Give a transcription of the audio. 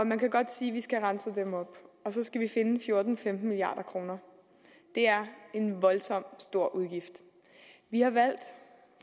man kan godt sige at vi skal have renset dem op men så skal vi finde fjorten til femten milliard kroner det er en voldsomt stor udgift